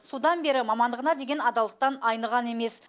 содан бері мамандығына деген адалдықтан айныған емес